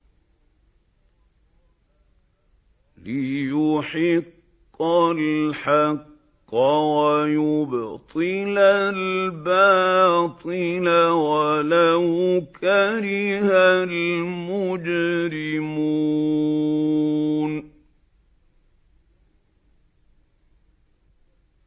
لِيُحِقَّ الْحَقَّ وَيُبْطِلَ الْبَاطِلَ وَلَوْ كَرِهَ الْمُجْرِمُونَ